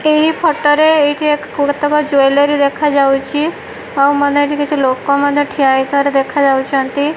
ଏହି ଫୋଟୋ ରେ ଏଇଠି ଏକ କେତେକ ଜୁଏଲାରୀ ଦେଖାଯାଉଛି ଆଉ ମଧ୍ୟ କିଛି ଲୋକ ଠିଆ ହେଇଥିବାର ଦେଖାଯାଉଛି।